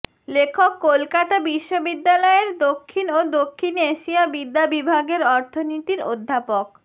লেখক কলকাতা বিশ্ববিদ্যালয়ের দক্ষিণ ও দক্ষিণ এশিয়া বিদ্যা বিভাগের অর্থনীতির অধ্যাপক